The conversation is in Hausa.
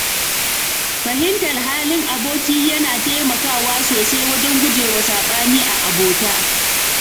Fahimtar halin aboki yana taimakawa sosai wajen gujewa saɓani a abota.